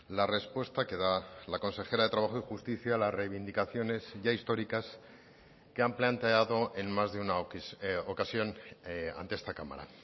la respuesta que da la consejera de trabajo y justicia a las reivindicaciones ya históricas que han planteado en más de una ocasión ante esta cámara